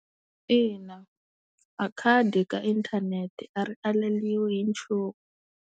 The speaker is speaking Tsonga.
Ina a khadi ka inthanete a ri aleriwi hi nchumu.